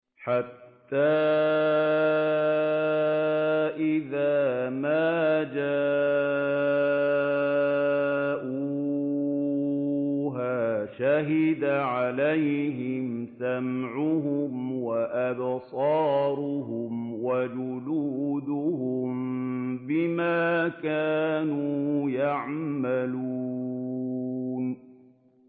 حَتَّىٰ إِذَا مَا جَاءُوهَا شَهِدَ عَلَيْهِمْ سَمْعُهُمْ وَأَبْصَارُهُمْ وَجُلُودُهُم بِمَا كَانُوا يَعْمَلُونَ